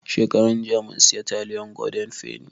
Shekaran jiya mun siya taliyan goden feni